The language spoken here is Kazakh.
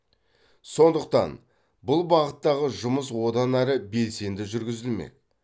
сондықтан бұл бағыттағы жұмыс одан ары белсенді жүргізілмек